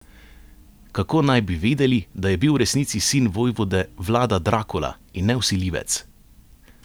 Kako naj bi vedeli, da je bil v resnici sin vojvode Vlada Drakula in ne vsiljivec?